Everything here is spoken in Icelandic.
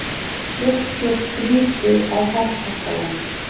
Fékk sér svítu á Herkastalanum.